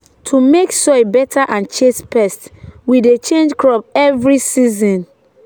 to make soil better and chase pests we dey change crop every season.